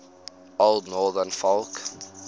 old northern folk